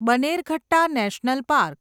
Bannerghatta national park